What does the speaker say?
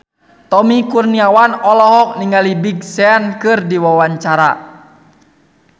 Tommy Kurniawan olohok ningali Big Sean keur diwawancara